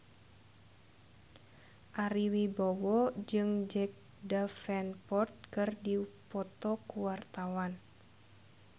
Ari Wibowo jeung Jack Davenport keur dipoto ku wartawan